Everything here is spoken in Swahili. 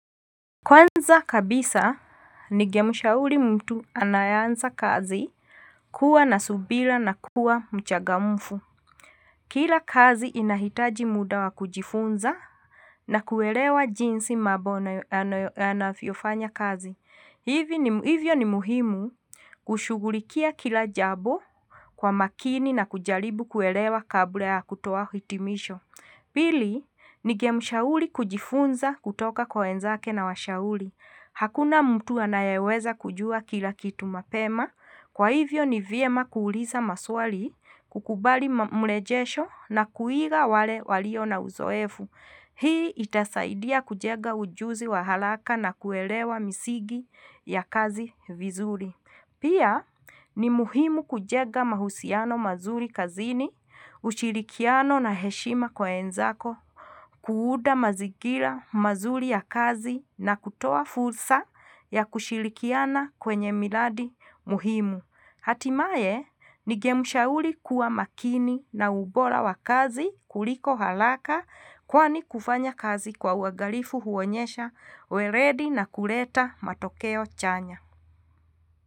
Kwanza kabisa ningemshauli mutu anayeanza kazi kua na subila na kua mchagamfu kila kazi inahitaji muda wakujifunza na kuelewa jinsi mabo anafyo fanya kazi hivyo ni muhimu kushugulikia kilajabo kwamakini na kujalibu kuelewa kabula yakutowa hitimisho pili nigemushauli kujifunza kutoka kwaenzake na washauli hakuna mtu anayeweza kujua kila kitu mapema kwaivyo ni vyema kuuliza maswali kukubali mlejesho na kuiga wale walio na uzoefu hii itasaidiya kujega ujuzi wahalaka na kuelewa misigi ya kazi vizuli pia ni muhimu kujega mahusiano mazuri kazini ushilikiano na heshima kwaenzako kuunda mazigila mazuli ya kazi na kutoa fulsa ya kushilikiana kwenyemiladi muhimu hatimaie nigemushauli kua makini na ubola wakazi kuliko halaka kwani kufanya kazi kwa uwagalifu huonyesha weredi na kureta matokeyo chanya.